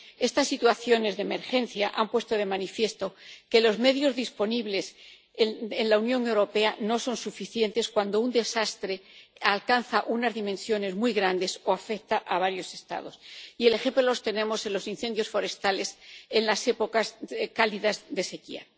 Estas situaciones de emergencia han puesto de manifiesto que los medios disponibles en la Unión Europea no son suficientes cuando un desastre alcanza unas dimensiones muy grandes o afecta a varios Estados, y el ejemplo lo tenemos en los incendios forestales en las épocas cálidas de sequía.